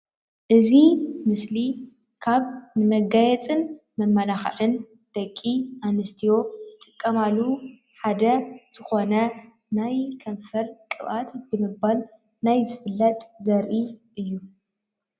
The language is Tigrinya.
እዚ ምስሊ ካብ መጋየፅን መመላክዒን ደቂ ኣንስትዮ ዝጥቀማሉ ሓደ ዝኮነ ናይ ከንፈር ቅባኣት ብምባል ናይ ዝፍለጥ ዘርኢ እዩ።